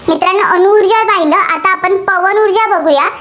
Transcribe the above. तर बघुया.